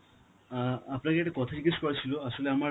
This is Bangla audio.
অ্যাঁ আপনাকে একটা কথা জিজ্ঞেস করার ছিল, আসলে আমার